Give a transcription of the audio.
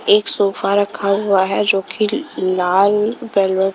एक सोफा रखा हुआ है जोकि लाल कल--